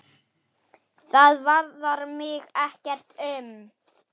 Það varðar mig ekkert um.